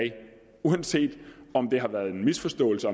uanset om det har været en misforståelse